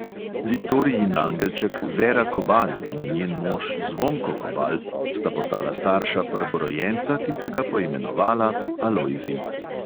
Viktorijin angelček vera kobal in njen mož zvonko kobal sta postala starša prvorojenca, ki sta ga poimenovala alojzij.